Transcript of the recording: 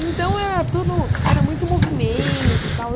Então, era tudo era muito movimento tal.